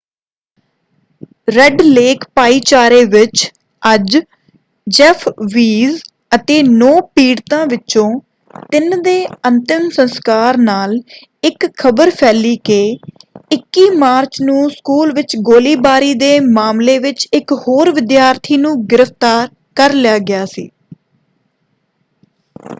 Red Lake ਭਾਈਚਾਰੇ ਵਿੱਚ ਅੱਜ ਜੈਫ ਵੀਜ਼ ਅਤੇ 9 ਪੀੜਤਾਂ ਵਿਚੋਂ ਤਿੰਨ ਦੇ ਅੰਤਿਮ ਸੰਸਕਾਰ ਨਾਲ ਇੱਕ ਖਬਰ ਫੈਲੀ ਕਿ 21 ਮਾਰਚ ਨੂੰ ਸਕੂਲ ਵਿੱਚ ਗੋਲੀਬਾਰੀ ਦੇ ਮਾਮਲੇ ਵਿੱਚ ਇੱਕ ਹੋਰ ਵਿਦਿਆਰਥੀ ਨੂੰ ਗ੍ਰਿਫਤਾਰ ਕਰ ਲਿਆ ਗਿਆ ਸੀ।